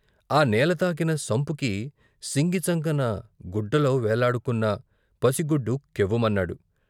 ఆ నేలతాకీన సంపుకి సింగి చంకన గుడ్డలో వేళ్లాడుకున్న పసిగుడ్డు కెవ్వుమన్నాడు.